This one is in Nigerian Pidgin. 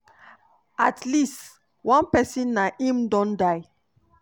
at least one pesin na im don die